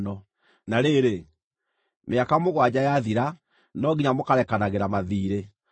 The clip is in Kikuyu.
Na rĩrĩ, mĩaka mũgwanja yathira, no nginya mũkarekanagĩra mathiirĩ.